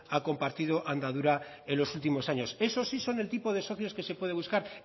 ha compartido andadura en los últimos años eso sí son el tipo de socios que se puede buscar